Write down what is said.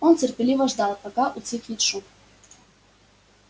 он терпеливо ждал пока утихнет шум